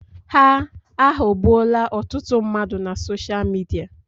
Ha aghọọgbuola ọtụtụ mmadụ na sosha Midia.